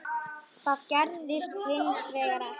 Það gerðist hins vegar ekki.